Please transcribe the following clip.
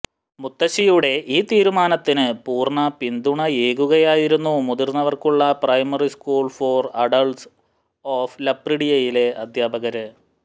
മുത്തശ്ശിയുടെ ഈ തീരുമാനത്തിന് പൂര്ണ പിന്തുണയേകുകയായിരുന്നു മുതിര്ന്നവര്ക്കുള്ള primary school for adults of ലപ്രിഡിയയിലെ അധ്യാപകര്